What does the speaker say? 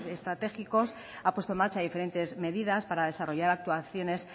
estratégicos ha puesto en marcha diferentes medidas para desarrollar actuaciones